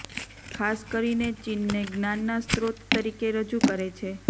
ખાસ કરીને ચીનને જ્ઞાનના સ્ત્રોત તરીકે રજૂ કરે છે